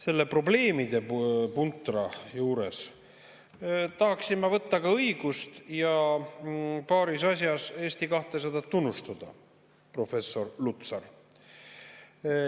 Selle probleemidepuntra juures tahaksin ma võtta ka õigust ja paaris asjas Eesti 200 tunnustada, professor Lutsar.